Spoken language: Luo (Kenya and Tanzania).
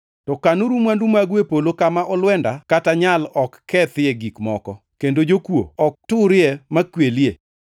To kanuru mwandu magu e polo kama olwenda kata nyal ok kethie gik moko kendo jokuo ok turie ma kwelie,